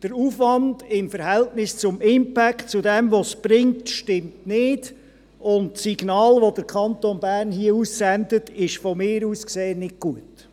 Der Aufwand im Verhältnis zum Impact – zu dem, was es bringt – stimmt nicht, und das Signal, das der Kanton Bern hier aussendet, ist meines Erachtens nicht gut.